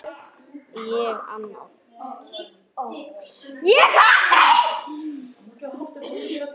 Hvað gat ég annað?